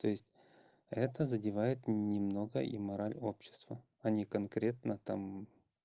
то есть это задевает немного и мораль общества они конкретно там